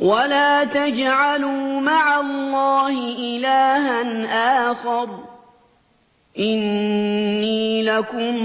وَلَا تَجْعَلُوا مَعَ اللَّهِ إِلَٰهًا آخَرَ ۖ إِنِّي لَكُم